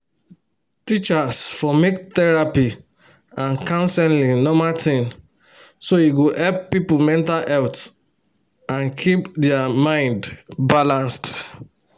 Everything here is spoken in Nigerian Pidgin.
teachers for make therapy and counseling normal thing so e go help people mental health and keep their mind balanced.